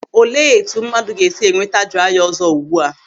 Olee etu mmadụ ga-esi enweta draiya ọ̀zọ́ ugbu a?